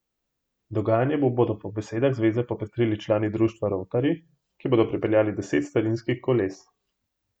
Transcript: Dogajanje bodo po besedah zveze popestrili člani društva Rovtarji, ki bodo pripeljali deset starinskih koles.